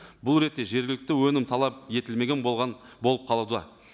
бұл ретте жергілікті өнім талап етілмеген болған болып қалуда